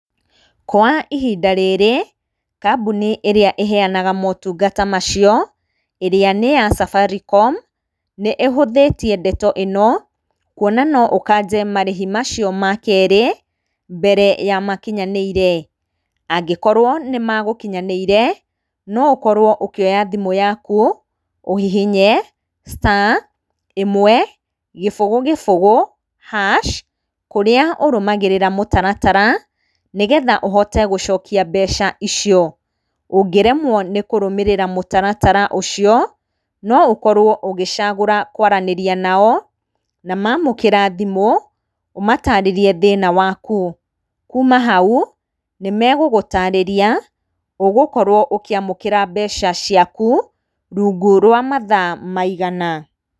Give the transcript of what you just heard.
Kwa ihinda rĩrĩ, kambuni ĩrĩa ĩheyanaga motungata macio, ĩrĩa nĩ ya Safaricom, nĩ ĩhũthĩtie ndeto ĩno, kwona no ũkanje marĩhi macio makerĩ, mbere ya makinyanĩire. Angĩkorwo nĩmegũkinyanĩire, no ũkorwo ũkĩoya thimũ yaku, ũhihinye star, ĩmwe, gĩbũgũ, gĩbũgũ hash, kũrĩa ũrũmagĩrĩra mũtaratara, nĩgetha ũhote gũcokia mbeca icio. Ũngĩremwo nĩ kũrũmĩrĩra mũtaratara ũcio, noũkorwo ũgĩcagũra kwaranĩria nao, na mamũkĩra thimũ, ũmatarĩrie thĩna waku. Kuuma hau, nĩmegũgũtarĩria ũgũkorwo ũkĩamũkĩra mbeca ciaku rungu wa mathaa maigana